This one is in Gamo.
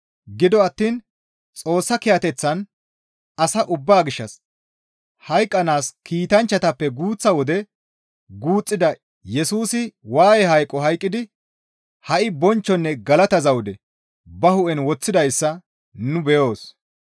Gido attiin Xoossa kiyateththan asa ubbaa gishshas hayqqanaas kiitanchchatappe guuththa wode guuxxida Yesusi waaye hayqo hayqqidi ha7i bonchchonne galata zawude ba hu7en woththidayssa nu beyoos.